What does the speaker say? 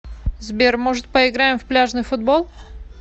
сбер может поиграем в пляжный футбол